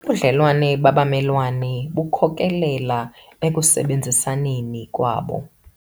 Ubudlelwane babamelwane bukhokelele ekusebenzisaneni kwabo.